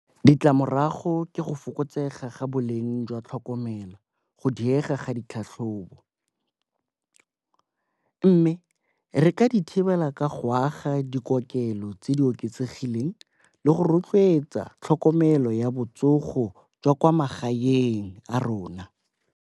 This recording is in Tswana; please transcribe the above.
Ditlamorago ke go fokotsega ga boleng jwa tlhokomelo, go diega ga ditlhatlhobo. Mme re ka di thibela ka go aga dikokelelo tse di oketsegileng le go rotloetsa tlhokomelo ya botsogo jwa kwa magaeng a rona.